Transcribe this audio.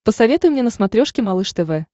посоветуй мне на смотрешке малыш тв